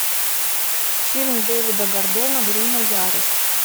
фильм дэвида гордона грина ярость